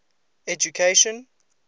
education